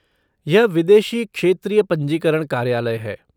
यह विदेशी क्षेत्रीय पंजीकरण कार्यालय है।